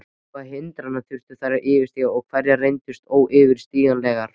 Hvaða hindranir þurftu þær að yfirstíga og hverjar reyndust óyfirstíganlegar?